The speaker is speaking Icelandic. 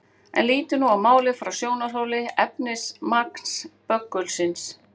En lítum nú á málið frá sjónarhóli efnismagns böggulsins.